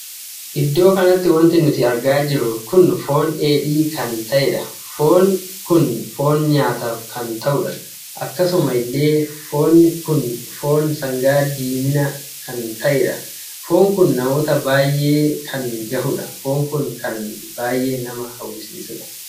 Iddoo kanatti wanti nuti argaa jirru kun foon dheedhii kan tahedha. foonni kun foon nyaataaf kan tahudha. akkasuma illee foonni kun foon sangaa diimina kan tahedha. foonni kun namoota baay'ee kan gahudha. foonni kun kan baay'ee nama hawwisiisuudha.